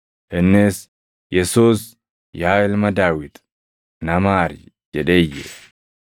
Innis, “Yesuus, yaa ilma Daawit, na maari!” jedhee iyye.